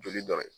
Joli dɔ ye